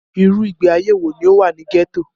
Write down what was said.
Irú ìgbé ayé wọ ní o wà ní gẹ́tò?